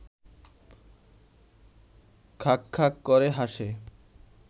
খাঁক খাঁক করে হাসে